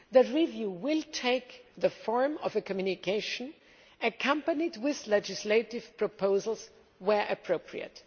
That review will take the form of a communication, accompanied by legislative proposals where appropriate.